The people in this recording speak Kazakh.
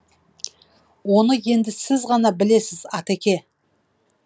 оны енді сіз ғана білесіз атеке